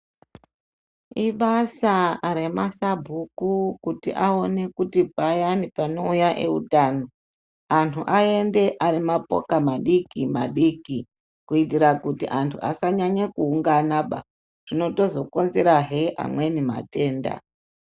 Ibasa remasabhuku kuti aone kuti payani panouya eitano, anhu aende ari mapoka madiki- madiki, kuitira kuti anhu asanyanye kuunganaba, zvinotozokonzerazve amweni matenda.